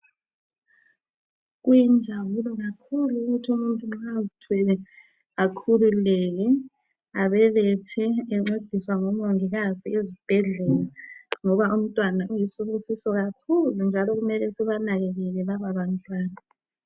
Kuyinjabulo kakhulu ukuthi umuntu nxa ezithwele akhululeke, abelethe encediswe ngomongikazi ezibhedlela ngoba umntwana uyisibusiso kakhulu njalo kumele sibanakekele laba bantwana.